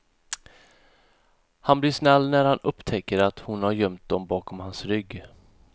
Han blir snäll när han upptäcker att hon har gömt dem bakom hans rygg.